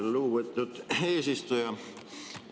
Lugupeetud eesistuja!